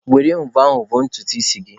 Were mvọ a vọọ ntutu isi gị.